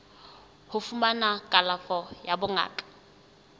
ho fumana kalafo ya bongaka